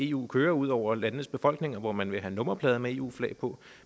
eu kører ud over landenes befolkninger hvor man vil have nummerplader med eu flag på